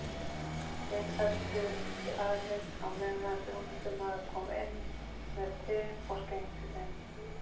Þeir felldu talið á meðan þjónustumaður kom inn með te og skenkti þeim.